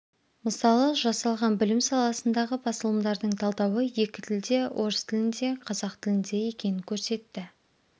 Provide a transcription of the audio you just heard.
мысалы жасалған білім саласындағы басылымдардың талдауы екі тілде орыс тілінде қазақ тілінде екенін көрсетті